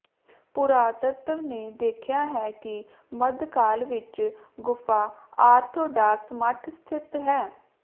ਪੁਰਾਤੱਤਵ ਨੇ ਦੇਖਿਆ ਹੈ ਕਿ ਮੱਧਕਾਲ ਵਿੱਚ ਗੁਫਾ ਆਰਥੋਡਾਕਸ ਮੱਠ ਸਥਿਤ ਹੈ